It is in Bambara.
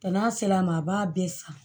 n'a sela ma a b'a bɛɛ san